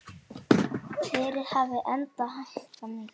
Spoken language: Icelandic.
Verðið hafi enda hækkað mikið.